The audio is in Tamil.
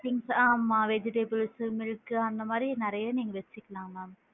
Things ஆமா vegetables சு அந்த மாதிரி நிறைய நீங்க வச்சுக்கலாம் ma'am